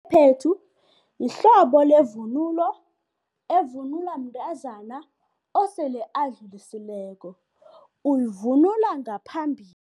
Iphephethu yihlobo levunulo evunulwa mntazana osele adlulisileko, uyivunula ngaphambili.